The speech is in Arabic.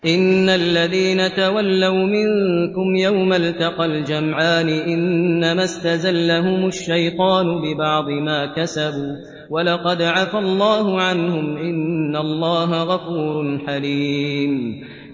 إِنَّ الَّذِينَ تَوَلَّوْا مِنكُمْ يَوْمَ الْتَقَى الْجَمْعَانِ إِنَّمَا اسْتَزَلَّهُمُ الشَّيْطَانُ بِبَعْضِ مَا كَسَبُوا ۖ وَلَقَدْ عَفَا اللَّهُ عَنْهُمْ ۗ إِنَّ اللَّهَ غَفُورٌ حَلِيمٌ